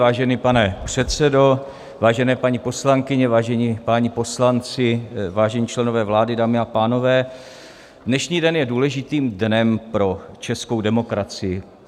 Vážený pane předsedo, vážené paní poslankyně, vážení páni poslanci, vážení členové vlády, dámy a pánové, dnešní den je důležitým dnem pro českou demokracii.